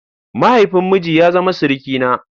Mahaifin miji ya zama surukina.